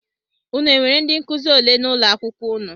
Unu enwere ndị nkụzi ole n'ụlọakwụkwọ unu?